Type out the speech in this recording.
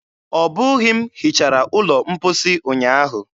Ọbụghị m hichara ụlọ mposi ụnyaahụ.